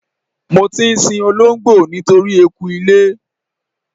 Mo ti ń sin olóńgbò nítorí eku ilé.